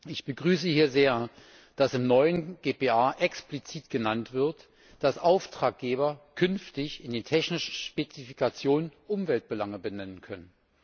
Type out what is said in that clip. Ich begrüße hier sehr, dass im neuen GPA explizit genannt wird, dass Auftraggeber künftig in den technischen Spezifikationen Umweltbelange benennen können.